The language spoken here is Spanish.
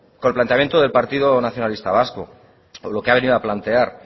con el planteamiento del partido nacionalista vasco con lo que ha venido a plantear